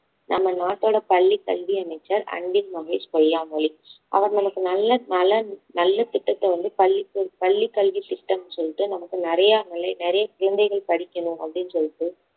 நம்ம நாட்டோட பள்ளி கல்வி அமைச்சர் அன்பில் மகேஷ் பொய்யாமொழி அவர் நமக்கு நல்ல நலன் நல்ல திட்டத்தை வந்து பள்ளிக்கு பள்ளி கல்வி திட்டம்னு சொல்லிட்டு நமக்கு நிறைய நிறைய குழந்தைகள் படிக்கணும் அப்படின்னு சொல்லிட்டு